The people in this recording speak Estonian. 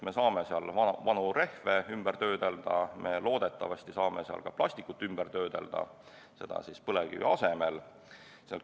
Me saame seal vanu rehve ümber töötada ja loodetavasti saame seal ka plastikut ümber töötada ning teha seda põlevkivi asemel.